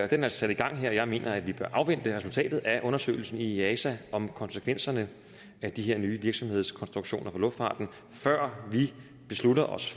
den er sat i gang og jeg mener at vi bør afvente resultatet af undersøgelsen i easa om konsekvenserne af de her nye virksomhedskonstruktioner inden for luftfarten før vi beslutter os